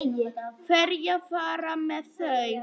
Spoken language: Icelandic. Hverjir fara með þau?